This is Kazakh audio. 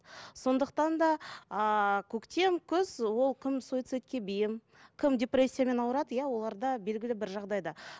сондықтан да ыыы көктем күз ол кім суицидке бейім кім депрессиямен ауырады иә оларда белгілі бір жағдайда